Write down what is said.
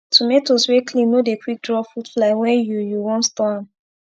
tomatoes wey clean no dey quick draw fruit fly wen you you wan store am